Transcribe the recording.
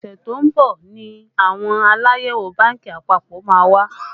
Ọṣẹ tó ń bọ̀ ni àwọn Aláyẹ̀wò bánkì àpapọ̀ má wá